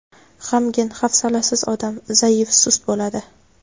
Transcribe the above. G‘amgin, hafsalasiz odam, zaif, sust bo‘ladi.